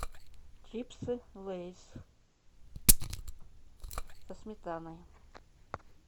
чипсы лейс со сметаной